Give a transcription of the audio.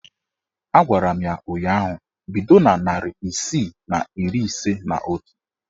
A gwara m ya ụnyaahụ "Bido na narị isii na iri ise na otu!